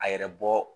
A yɛrɛ bɔ